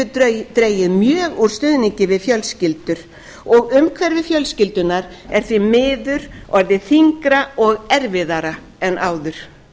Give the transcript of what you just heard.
samt hefur dregið mjög úr stuðningi við fjölskyldur og umhverfi fjölskyldunnar er því miður orðið þyngra og erfiðara en áður